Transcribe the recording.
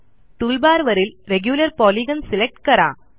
टूलबारवरील regular polygon select करा